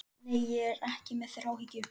Nei, ég er ekki með þráhyggju.